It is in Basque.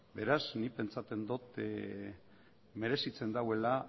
beraz nik pentsatzen dot merezitzen duela